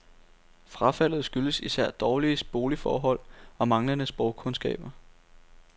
Frafaldet skyldes især dårlige boligforhold og manglende sprogkundskaber.